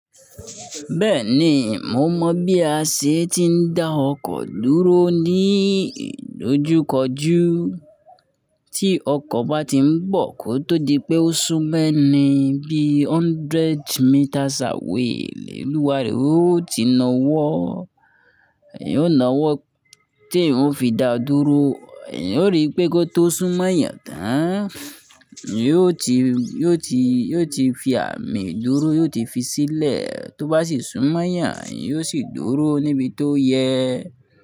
Bẹ́ẹ̀ni, mo mọ̀ bí a ṣe ti ń dá ọkọ̀ dúró ní ìdojúkọjú. Tí ọkọ̀ bá ti ń bọ̀ kó tó di pé ó sún mẹ́ni bí hundred metres away, olúwa rẹ̀ ó ti na wọ́, ó na ọwọ́ tí eeyan ó fi da dúró, eeyan ó rí pé kó tó sún mọ́yàn tán, yi ó ti, yi ó ti, yi ó ti fi àmì dúró, yi ó ti fi sílẹ̀, tó bá sì sún mọ́yàn, eeyan ó sì dúró níbi tó yẹ.